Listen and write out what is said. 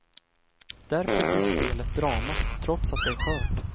Därför blir spelet drama, trots att det är skört.